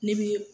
N'i bi